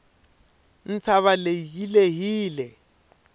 ntshava leyi yi lehile